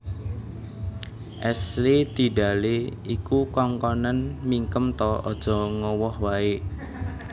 Ashley Tidale iku kongkonen mingkem ta ojok ngowoh ae